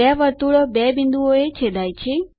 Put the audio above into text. બે વર્તુળો બે બિન્દુઓએ છેદાય છે